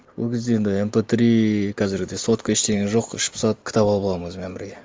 ол кезде енді эмпэ три қазіргідей сотка ештеңе жоқ іш пысады кітап алып аламын өзіммен бірге